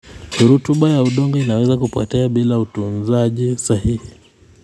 Rutuba ya udongo inaweza kupotea bila utunzaji sahihi.